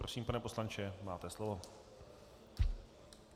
Prosím, pane poslanče, máte slovo.